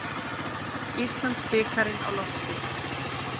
Íslandsbikarinn á lofti